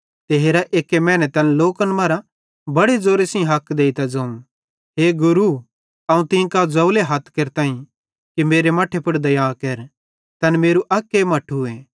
ते हेरा एक्की मैने तैन लोकन मरां बड़े ज़ोरे सेइं हक देइतां ज़ोवं ए गुरू अवं तीं कां ज़ोवले हथ केरतां कि मेरे मट्ठे पुड़ दया केर तैन मेरू अक्के मट्ठूए